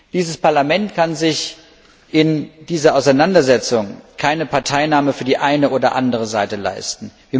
Dieses Parlament kann sich in dieser Auseinandersetzung keine Parteinahme für die eine oder andere Seite leisten.